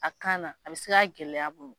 A kana a bɛ se ka gɛlɛya bolo.